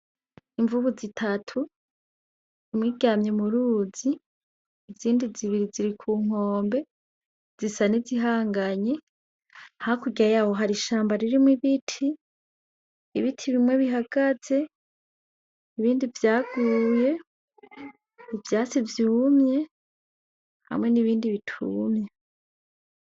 Imvubu zitatu, imwe iryamye mu ruzi izindi zibiri ziri ku nkombe zisa n'izihanganye, hakurya yaho hari ishamba ririmwo ibiti, ibiti bimwe bihagaze, ibindi vyaguye, ivyatsi vyumye hamwe n'ibindi bitumye.